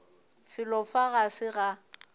felo fa ga se ga